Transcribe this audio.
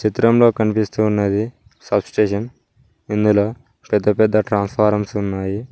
చిత్రంలో కనిపిస్తూ ఉన్నది సబ్ స్టేషన్ ఇందులో పెద్ద పెద్ద ట్రాన్ఫారమ్స్ ఉన్నాయి.